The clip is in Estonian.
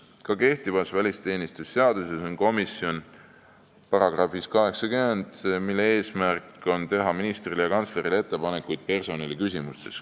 Ka kehtivas välisteenistuse seaduses on §-s 80 komisjon, mille eesmärk on teha ministrile ja kantslerile ettepanekuid personaliküsimustes.